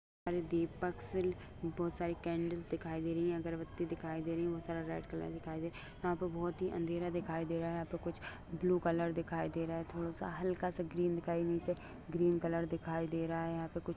दीपक से बोहोत सारे केंडल्स दिखाई दे रही है। अगरबत्ती दिखाई दे रही है। बोहोत सारा रेड कलर दिखाई दे रहा है। यहा पे बोहोत ही अंधेरा दिखाई दे रहा है। यहा पे कुछ ब्लू कलर दिखाई दे रहा है। थोड़ा सा हल्का सा ग्रीन दिखाई नीचे ग्रीन कलर दिखाई दे रहा है। यहा पे कुछ--